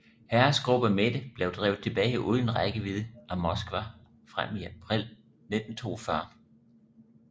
Heeresgruppe Mitte blev drevet tilbage udenfor rækkevidde af Moskva frem til april 1942